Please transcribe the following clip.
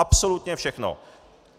Absolutně všechno!